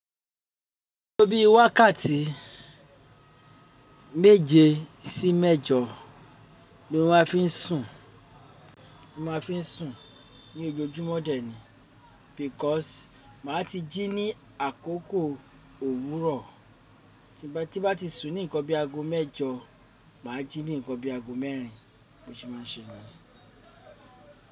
A to bi wákàtí méje sí mẹ́jọ ni ó máa fi ń sùn. Mo máa fi ń sùn ní ojoojúmọ́ dẹ̀ ni because màá ti jí ní àkókò òwúrọ̀. Tí bá ti sùn ní ǹkan bí i ago mẹ́jọ, màá jí ní ǹkan bí i ago mẹ́rin. Bí mo ṣe máa ń ṣe ni yen.